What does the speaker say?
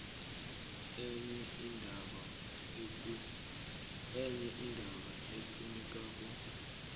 enye indaba efunekako